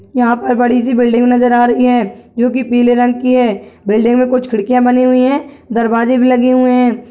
यहाँ पर बड़ी सी बिल्डिंग नजर आ रही हे जो की पीले रंग की हे बिल्डिंग में कुछ खिड़कियाँ बनी हुई हैं दरवाजे भी लगे हुए हैं।